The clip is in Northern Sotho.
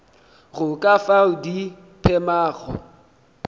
go ka fao di phemago